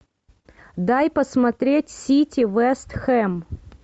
дай посмотреть сити вест хэм